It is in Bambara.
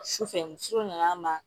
Su fɛ muso nana n ma